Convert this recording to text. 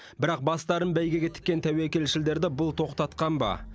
бірақ бастарын бәйгеге тіккен тәуекелшілдерді бұл тоқтатқан ба